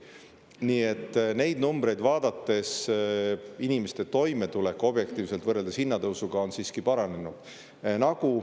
Nii et neid numbreid vaadates inimeste toimetulek objektiivselt võrreldes hinnatõusuga on siiski paranenud.